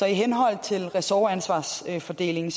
i henhold til ressortansvarsfordelingen